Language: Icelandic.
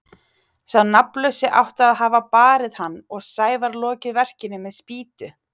Sá nafnlausi átti að hafa barið hann og Sævar lokið verkinu með spýtu.